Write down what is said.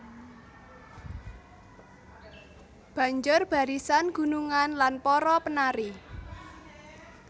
Banjur barisan gunungan lan para penari